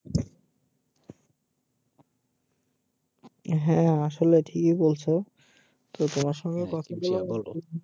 হ্যা আসলে ঠিকই বলছো যে তোমার সাথে কথা বলেও